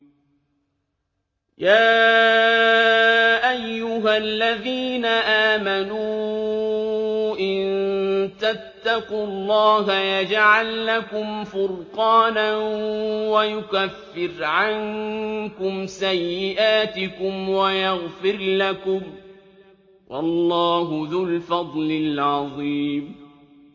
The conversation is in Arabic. يَا أَيُّهَا الَّذِينَ آمَنُوا إِن تَتَّقُوا اللَّهَ يَجْعَل لَّكُمْ فُرْقَانًا وَيُكَفِّرْ عَنكُمْ سَيِّئَاتِكُمْ وَيَغْفِرْ لَكُمْ ۗ وَاللَّهُ ذُو الْفَضْلِ الْعَظِيمِ